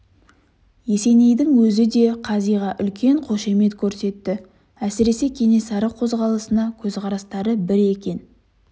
есенейдің өзі де да қазиға үлкен қошемет көрсетті әсіресе кенесары қозғалысына көзқарастары бір екен